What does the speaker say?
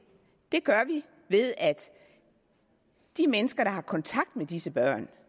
det gør vi ved at de mennesker der har kontakt med disse børn